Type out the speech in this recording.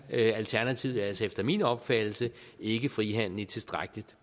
alternativet altså efter min opfattelse ikke frihandel i et tilstrækkelig